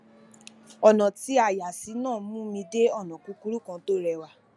ònà tí a yà sí náà mú mi dé ònà kúkúrú kan tó réwà